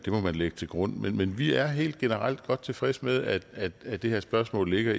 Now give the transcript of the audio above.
man lægge til grund men vi er helt generelt godt tilfredse med at at det det her spørgsmål ligger